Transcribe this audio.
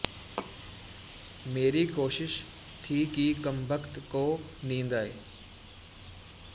ਮੇਰੀ ਕੋਸ਼ਿਸ਼ ਥੀ ਕਿ ਕਮਬਖ਼ਤ ਕੋ ਨੀਂਦ ਆਏ